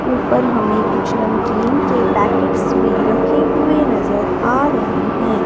ऊपर हमें कुछ नमकीन के पैकेट्स भी रखे हुए नजर आ रहें हैं।